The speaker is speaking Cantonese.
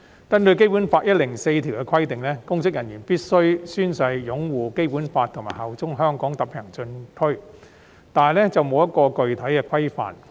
根據《基本法》第一百零四條的規定，公職人員必須宣誓擁護《基本法》及效忠香港特別行政區，但缺乏具體的規範。